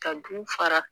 Ka du fara